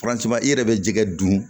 i yɛrɛ bɛ jɛgɛ dun